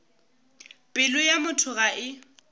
pelo ya motho ga e